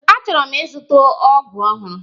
Achọrọ m ịzụta ọgụ ọhụrụ.